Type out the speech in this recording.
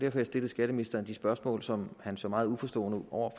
at jeg stillede skatteministeren de spørgsmål som han så meget uforstående ud over